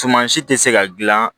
Suman si tɛ se ka gilan